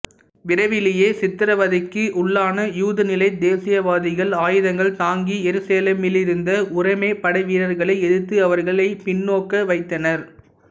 விரைவிலேயே சித்தரவதைக்கு உள்ளான யூத நில தேசியவாதிகள் ஆயுதங்கள் தாங்கி எருசலேமிலிருந்த உரோம படைவீரர்களை எதிர்த்து அவர்களை பின்னோக்க வைத்தனர்